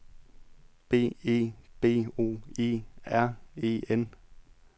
B E B O E R E N